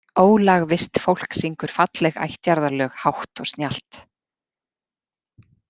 Ólagvisst fólk syngur falleg ættjarðarlög hátt og snjallt.